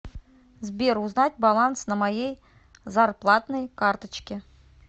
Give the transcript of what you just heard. сбер узнать баланс на моей зарплатной карточке